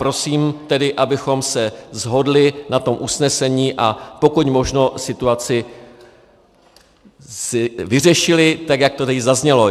Prosím tedy, abychom se shodli na tom usnesení, a pokud možno situaci si vyřešili, tak jak to tady zaznělo.